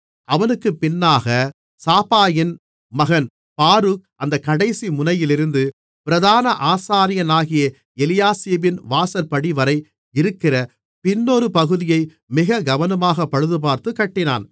அவனுக்குப் பின்னாகச் சாபாயின் மகன் பாரூக் அந்தக் கடைசிமுனையிலிருந்து பிரதான ஆசாரியனாகிய எலியாசிபின் வாசற்படிவரை இருக்கிற பின்னொரு பகுதியை மிக கவனமாக பழுதுபார்த்துக் கட்டினான்